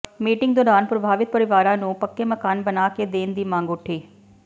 meeting ਦੌਰਾਨ ਪ੍ਰਭਾਵਿਤ ਪਰਿਵਾਰਾਂ ਨੂੰ ਪੱਕੇ ਮਕਾਨ ਬਣਾ ਕੇ ਦੇਣ ਦੀ ਮੰਗ ਉਠੀ